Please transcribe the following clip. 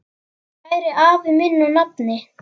Kæri afi minn og nafni.